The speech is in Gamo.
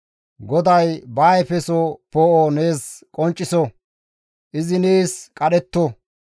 GODAY ba ayfeso poo7o nees qoncciso; izi nees qadhetto.